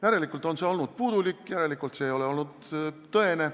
Järelikult on see informatsioon olnud puudulik, järelikult ei ole see olnud tõene.